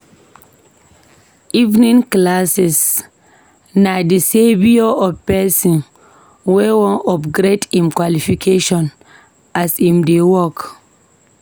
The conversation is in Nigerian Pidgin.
Evening classes na de saviour of pesin wey wan upgrade em qualification as em dey work.